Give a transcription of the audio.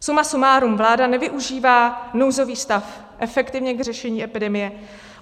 Suma sumárum, vláda nevyužívá nouzový stav efektivně k řešení epidemie.